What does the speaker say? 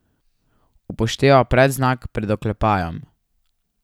Upošteva predznak pred oklepajem.